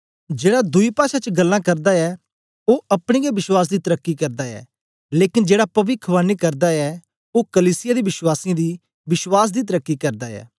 जेड़ा दुई पाषा च गल्लां करदा ऐ ओ अपने गै विश्वास दी तरकी करदा ऐ लेकन जेड़ा पविखवाणी करदा ऐ ओ कलीसिया दे वश्वासीयें दी विश्वास दी तरकी करदा ऐ